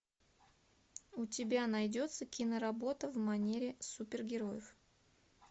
у тебя найдется киноработа в манере супергероев